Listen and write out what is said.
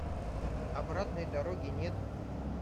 обратной дороги нет